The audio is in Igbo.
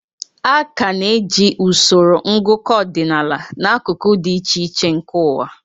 A ka na-eji usoro ngụkọ ọdịnaala n'akụkụ dị iche iche nke ụwa.